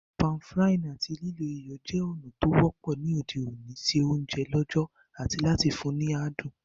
Pan-frying áti lílo iyọ̀ je ònà to wọ́pọ́ ni òde òní se ounje lọ̀jọ̀ ati láti fun ni adùn